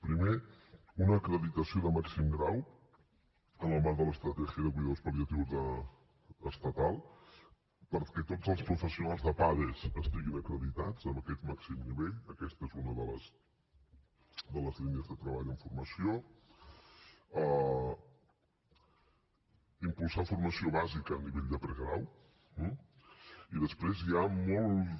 primer una acreditació de màxim grau en el marc de la estrategia de cuidados paliativos estatal perquè tots els professionals de pades estiguin acreditats amb aquest màxim nivell aquesta és una de les línies de treball en formació impulsar formació bàsica a nivell de pregrau eh i després hi ha molts